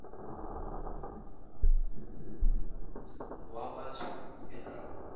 wa batho o be a